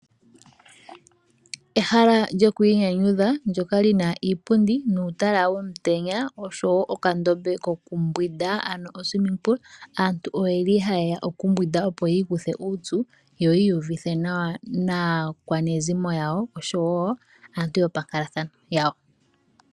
Ehala lyoku inyanyudha ndyoka li na iipundi nuutala womutenya, oshowo okandombe kokumbwinda. Aantu ohaye ya okumbwinda, opo yi ikuthe uupyu yo yi uyuvithe nawa naakwanezimo yawo, oshowo aantu yopankalathano yawo.